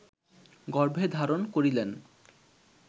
গর্ভে ধারণ করিলেন